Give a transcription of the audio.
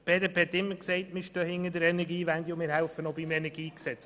Die BDP hat immer gesagt, sie stehe hinter der Energiewende und helfe auch beim KEnG mit.